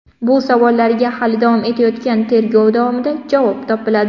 Bu savollarga hali davom etayotgan tergov davomida javob topiladi.